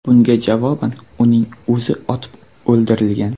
Bunga javoban uning o‘zi otib o‘ldirilgan.